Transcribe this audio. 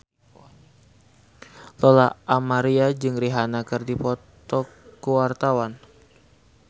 Lola Amaria jeung Rihanna keur dipoto ku wartawan